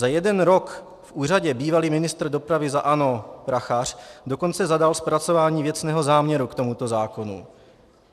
Za jeden rok v úřadě bývalý ministr dopravy za ANO Prachař dokonce zadal zpracování věcného záměru k tomuto zákonu.